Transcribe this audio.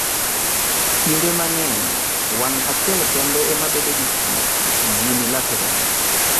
Kinde mang'eny, wang ' achiel kende ema bedo gi tuwo (unilateral)